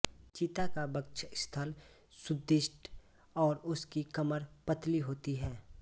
चीता का वक्षस्थल सुदृढ़ और उसकी कमर पतली होती है